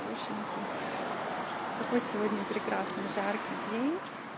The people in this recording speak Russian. какой сегодня прекрасный жаркий день